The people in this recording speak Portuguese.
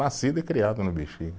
Nascido e criado no Bixiga.